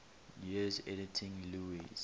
years editing lewes's